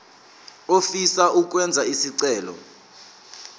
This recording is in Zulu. ofisa ukwenza isicelo